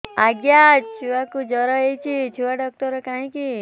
ଆଜ୍ଞା ଛୁଆକୁ ଜର ହେଇଚି ଛୁଆ ଡାକ୍ତର କାହିଁ କି